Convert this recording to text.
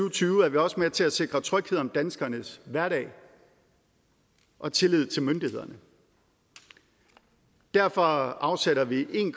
og tyve er vi også med til at sikre tryghed om danskernes hverdag og tillid til myndighederne derfor afsætter vi en